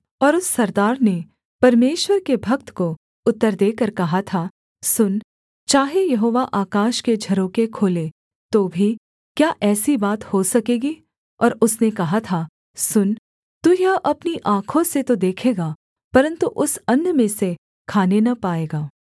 और उस सरदार ने परमेश्वर के भक्त को उत्तर देकर कहा था सुन चाहे यहोवा आकाश में झरोखे खोले तो भी क्या ऐसी बात हो सकेगी और उसने कहा था सुन तू यह अपनी आँखों से तो देखेगा परन्तु उस अन्न में से खाने न पाएगा